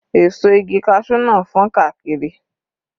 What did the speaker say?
Èso igi cashew náà fọ́n káàkiri.